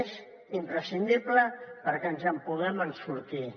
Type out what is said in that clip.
és imprescindible perquè ens en puguem sortir